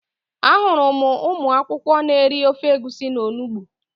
Ahụrụ m ụmụ akwụkwọ n'eri ofe egusi na onugbu